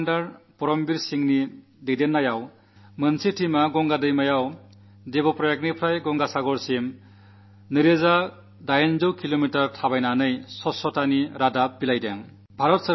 wing commander Paramvir സിംഗിന്റെ നേതൃത്വത്തിൽ ഒരു ടീം ഗംഗയിൽ ദേവപ്രയാഗ് മുതൽ ഗംഗാസാഗർ വരെ 2800 കിലോമീറ്റർ യാത്ര നടത്തിക്കൊണ്ട് സ്വച്ഛതാ സന്ദേശം പ്രചരിപ്പിച്ചു